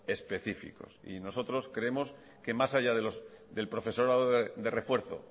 específicos nosotros creemos que más allá del profesorado de refuerzo